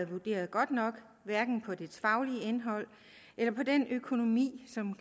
vurderet godt nok hverken på det faglige indhold eller på den økonomi som